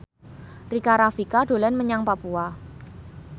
Rika Rafika dolan menyang Papua